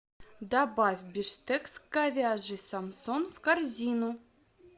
добавь бифштекс говяжий самсон в корзину